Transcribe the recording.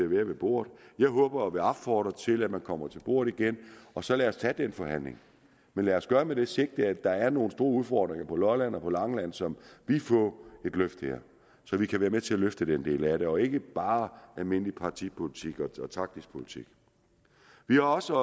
ved bordet jeg håber og vil opfordre til at man kommer til bordet igen og så lad os tage den forhandling men lad os gøre det med det sigte at der er nogle store udfordringer på lolland og på langeland som vil få et løft her så vi kan være med til at løfte den del af det og ikke bare almindelig partipolitik og taktisk politik vi har også